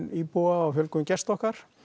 íbúa og fjölgun gesta okkar